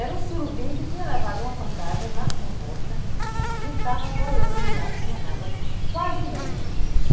Era um surubim que tinha levado uma pancada nas comportas e estava boiando lá em cima d'água, quase morto.